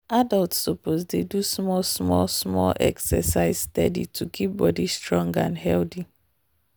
adults suppose dey do small small small exercise steady to keep body strong and healthy.